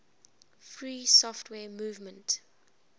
free software movement